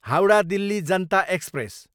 Howrah, Delhi Janata express